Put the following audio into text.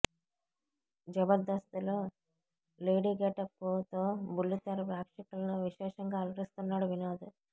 జబర్దస్త్ లో lady getup తో బుల్లితెర ప్రేక్షకులను విశేషంగా అలరిస్తున్నాడు వినోద్